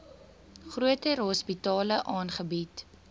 groter hospitale aangebied